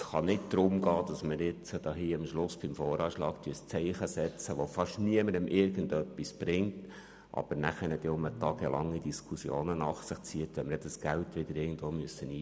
Es kann nicht darum gehen, am Schluss beim Voranschlag ein Zeichen zu setzen, das fast niemandem irgendetwas bringt, aber wiederum tagelange Diskussionen nach sich zieht, wenn wir das Geld dann wieder irgendwo einsparen müssen.